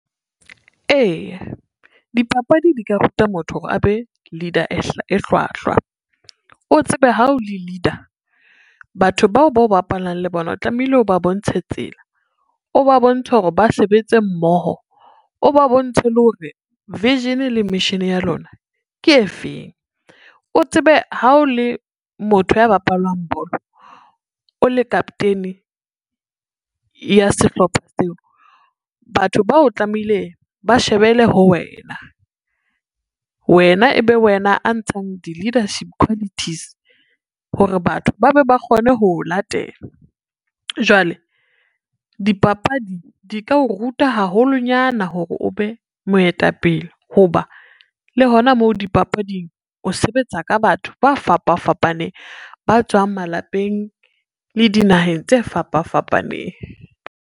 Eya, dipapadi di ka ruta motho hore a be leader e hlwahlwa, o tsebe ha o le leader batho bao bo bapalang le bona o tlamehile o ba bontshe tsela, o ba bontshe hore ba sebetse mmoho, o ba bontshe le hore vision le mission ya lona ke efeng. O tsebe ha o le motho ya bapalang bolo, o le kapoteni ya sehlopha seo, batho bao tlamehile ba shebele ho wena, wena ebe wena a ntshang di-leadership qualities hore batho ba be ba kgone ho latela. Jwale dipapadi di ka o ruta haholonyana hore o be moetapele ho ba le hona moo dipapading, o sebetsa ka batho ba fapa fapaneng, ba tswang malapeng le dinaheng tse fapa fapaneng.